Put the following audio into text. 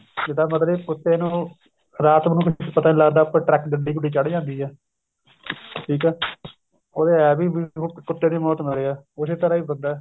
ਇਹਦਾ ਮਤਲਬ ਕੁੱਤੇ ਨੂੰ ਰਾਤ ਨੂੰ ਕੁੱਝ ਪਤਾ ਨੀ ਲੱਗਦਾ ਉੱਪਰ ਟਰੱਕ ਗੱਡੀ ਗੁੱਡੀ ਚੜ ਜਾਂਦੀ ਏ ਠੀਕ ਏ ਉਹਦੇ ਇਹ ਵੀ ਕੁੱਤੇ ਦੀ ਮੌਤ ਮਰਿਆ ਏ ਉਸੇ ਤਰ੍ਹਾਂ ਹੀ ਹੁੰਦਾ